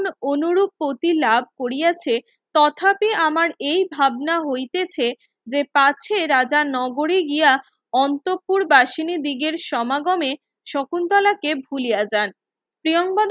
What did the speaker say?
অনুরূপ প্রতি ল্যাব করিয়াছে তথাপি আমার এই ভাবনা হইতেছে যে পাচ্ছে রাজার নগরী গিয়া অন্তপুর বাসিনি দিগের সমাগমে শকুন্তলাকে ভুলিয়া যান প্রিয়াঙ্গদা